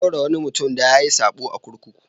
An ɗaure wani mutum da yayi saɓo a kurkuku.